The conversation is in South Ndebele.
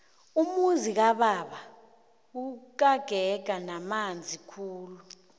umuzi kababa ukagega namanzi khulu